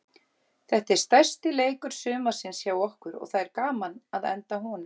Þetta er stærsti leikur sumarsins hjá okkur og það er gaman að enda á honum.